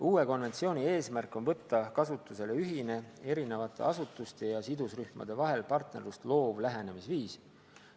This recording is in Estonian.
Uue konventsiooni eesmärk on tõsta ausse ühine eri asutuste ja sidusrühmade vahel partnerlust loov lähenemisviis.